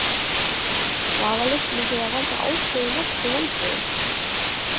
Vafalaust myndi það valda Áslaugu nokkrum vonbrigðum.